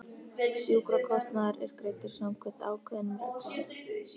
Sjúkrakostnaður er greiddur samkvæmt ákveðnum reglum.